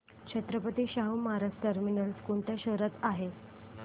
Chhatrapati Shahu Maharaj terminus कोणत्या शहरात आहे